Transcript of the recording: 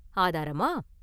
“ஆதாரமா?